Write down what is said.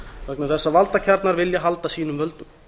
vegna þess að valdakjarnar vilja halda sínum völdum